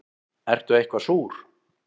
Ertu eitthvað súr?